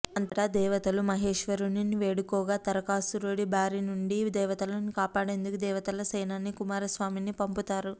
అంతట దేవతలు మహేశ్వరుడిని వేడుకోగా తారకాసురుడి బారి నుండి దేవతలను కాపాడేందుకు దేవతల సేనాని కుమారస్వామిని పంపుతారు